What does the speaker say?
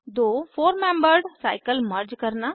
दो four membered cycle merge करना